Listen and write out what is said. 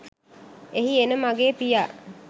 එහි එන මගේ පියා